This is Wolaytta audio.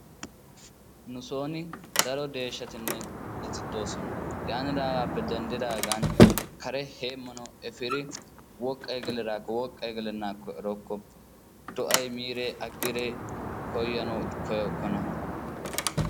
nu soon daro deeshshatinne dorssati de'oosona. yaatidoogappe denddidagana kare hemmanw efiidi woqqa gelidaakko woqqay gelanakko erokko, do'ay miide aggide koyyanaw koyyokkona.